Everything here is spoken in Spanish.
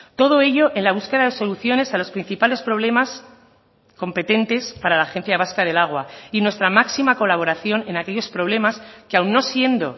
todo ello en la búsqueda de soluciones a los principales problemas competentes para la agencia vasca del agua y nuestra máxima colaboración en aquellos problemas que aun no siendo